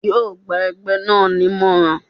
Yóò gba ẹgbẹ́ náà ni ìmọ̀ràn.